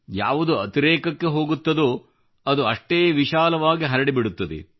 ಯಾವುದು ಅತಿರೇಕಕ್ಕೆ ಹೋಗುತ್ತದೋ ಅದು ಅಷ್ಟೇ ವಿಶಾಲವಾಗಿ ಪಸರಿಸುತ್ತದೆ